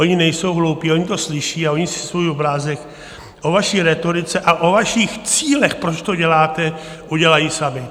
Oni nejsou hloupí, oni to slyší a oni si svůj obrázek o vaší rétorice a o vašich cílech, proč to děláte, udělají sami.